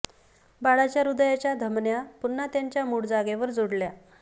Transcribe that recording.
बाळाच्या हृदयाच्या धमन्या पुन्हा त्यांच्या मूळ जागेवर जोडल्या